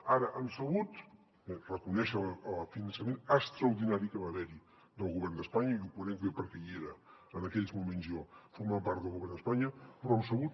ara hem sabut reconèixer el finançament extraordinari que va haver hi del govern d’espanya i ho conec bé perquè hi era en aquells moments jo formava part del govern d’espanya però hem sabut